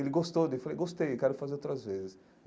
Ele gostou daí, eu falei, gostei, quero fazer outras vezes.